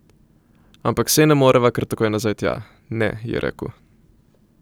Ampak saj ne moreva kar tako nazaj tja, ne, je rekel.